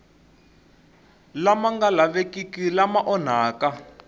lama nga lavekiki lama onhaka